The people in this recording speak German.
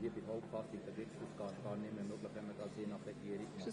Sie sehen das auch in der entsprechenden Tabelle.